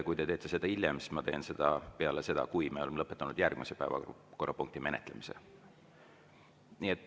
Kui te teete seda hiljem, siis ma teen seda peale seda, kui me oleme lõpetanud järgmise päevakorrapunkti menetlemise.